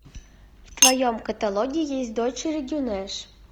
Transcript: в твоем каталоге есть дочери гюнеш